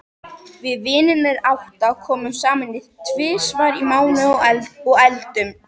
Við vinirnir átta komum saman tvisvar í mánuði og eldum.